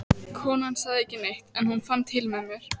Konan sagði ekki neitt, en hún fann til með mér.